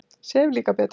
Sef líka betur.